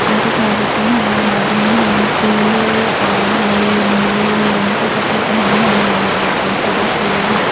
और कुछ औरतें हैं आदमी हैं पीले हरे नीले रंग के कपड़े पहने हुए हैं ये लोग बहुत सारे फूल हैं।